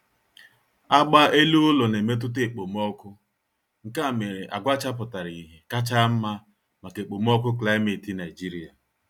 Agba ele-ụlọ na-emetụta ekpomọọkụ, nkea mere agwa chapụtara ihe kacha nma maka ekpomọọkụ klimeti Nigeria